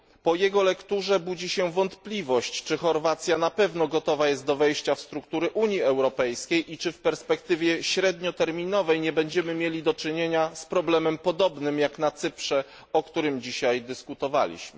Po jego lekturze budzi się wątpliwość, czy Chorwacja jest na pewno gotowa do wejścia w struktury Unii Europejskiej i czy w perspektywie średnioterminowej nie będziemy mieli do czynienia z problemem podobnym jak na Cyprze, o którym dzisiaj dyskutowaliśmy.